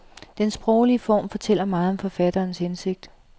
Den sproglige form fortæller meget om forfatterens hensigt.